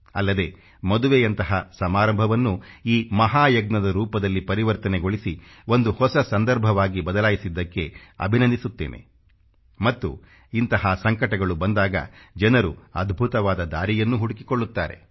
ಅಲ್ಲದೆ ಮದುವೆಯಂಥ ಸಮಾರಂಭವನ್ನೂ ಈ ಮಹಾ ಯಜ್ಞದ ರೂಪದಲ್ಲಿ ಪರಿವರ್ತನೆಗೊಳಿಸಿ ಒಂದು ಹೊಸ ಸಂದರ್ಭವಾಗಿ ಬದಲಾಯಿಸಿದ್ದಕ್ಕೆ ಅಭಿನಂದಿಸುತ್ತೇನೆ ಮತ್ತು ಇಂಥ ಸಂಕಟಗಳು ಬಂದಾಗ ಜನರು ಅದ್ಭುತವಾದ ದಾರಿಯನ್ನೂ ಹುಡುಕಿಕೊಳ್ಳುತ್ತಾರೆ